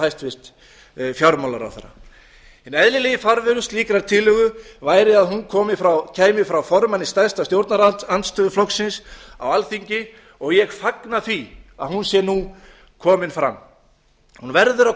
hæstvirtur fjármálaráðherra hinn eðlilegi farvegur slíkrar tillögu væri að hún kæmi frá formanni stærsta stjórnarandstöðuflokksins á alþingi og ég fagna því að hún sé nú komin fram hún verður að